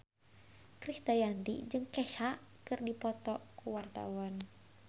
Krisdayanti jeung Kesha keur dipoto ku wartawan